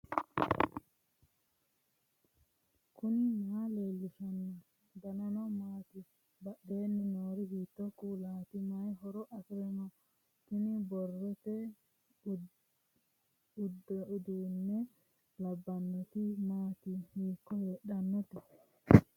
knuni maa leellishanno ? danano maati ? badheenni noori hiitto kuulaati ? mayi horo afirino ? tini borrote uduunne labbannoti maati hiikko heedhannote